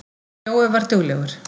Jói var duglegur.